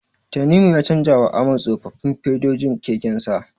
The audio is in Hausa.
Tanimu ya canjawa Ahmad tsofaffin fedojin kekensa.